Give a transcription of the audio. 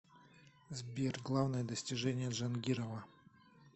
сбер главное достижение джангирова